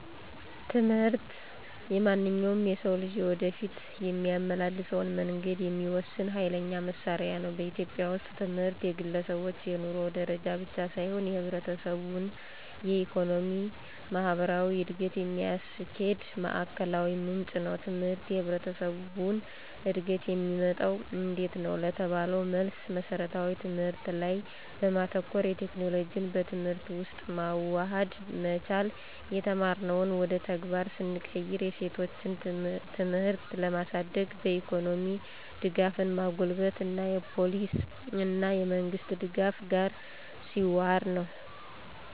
ትምህርት የማንኛውም ሰው የወደፊት የሚያመላልሰውን መንገድ የሚወስን ኋይለኛ መሳሪያ ነው። በኢትዮጵያ ውስጥ ትምህርት የግለሰቦች የኑሮ ደረጃ ብቻ ሳይሆን የህብረተሰቡን የኢኮኖሚ፣ ማህበራዊ እድገት የሚያስኪድ ማዕከላዊ ምንጭ ነው። ትምህርት የህብረተሰቡን እድገት የሚመጣው እንዴት ነው? ለተባለው መልስ መስረታዊ ትምህርት ላይ በማተኮር፣ የቴክኖሎጂን በትምህርት ውስጥ ማዋሃድ መቻል፣ የተማርነውን ወደ ተግባር ስንቀይርው፣ የሴቶችን ትምህርት ለማሳድግ፣ በኢኮኖሚ ደጋፍን ማጎልበት እና የፓሊሲ እና የመንግሥት ደጋፍ ጋር ሲዋሀድ ነው።